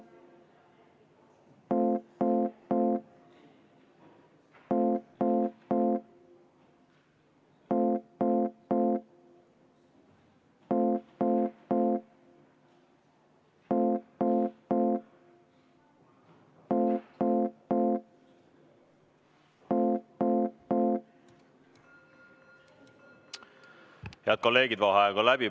Head kolleegid, vaheaeg on läbi.